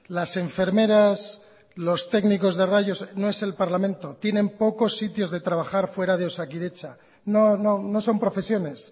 las enfermeras los técnicos de rayos no es el parlamento tienen pocos sitios de trabajar fuera de osakidetza no son profesiones